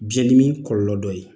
Biɲɛn dimi kɔlɔlɔ dɔ ye